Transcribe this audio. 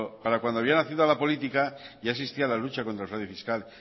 para cuando había nacido a la política ya existía la lucha contra el fraude fiscal